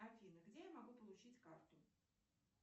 афина где я могу получить карту